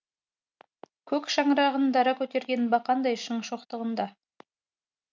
көк шаңырағын дара көтерген бақандай шың шоқтығында